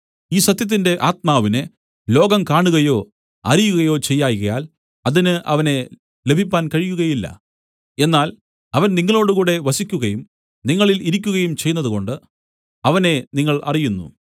ഈ സത്യത്തിന്റെ ആത്മാവിനെ ലോകം കാണുകയോ അറിയുകയോ ചെയ്യായ്കയാൽ അതിന് അവനെ ലഭിപ്പാൻ കഴിയുകയില്ല എന്നാൽ അവൻ നിങ്ങളോടുകൂടെ വസിക്കുകയും നിങ്ങളിൽ ഇരിക്കുകയും ചെയ്യുന്നതുകൊണ്ട് അവനെ നിങ്ങൾ അറിയുന്നു